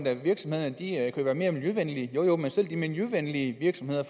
at virksomhederne kan være mere miljøvenlige jo jo men selv de miljøvenlige virksomheder